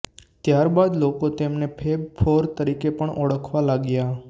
ત્યાર બાદ લોકો તેમને ફેબ ફોર તરીકે પણ ઓળખવા લાગ્યા